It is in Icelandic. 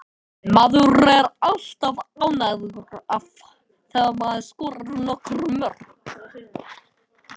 Lundavarp var einnig óvenju lélegt í Færeyjum og sömu sögu má segja um Hjaltlandseyjar.